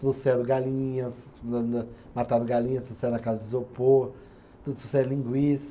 Trouxeram galinhas, ma ma mataram galinhas, trouxeram na caixa de isopor, trouxeram linguiça.